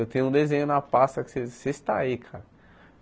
Eu tenho um desenho na pasta que Sexta ê cara.